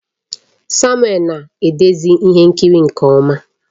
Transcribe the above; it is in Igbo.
Samuel na-edezi ihe nkiri nke ọma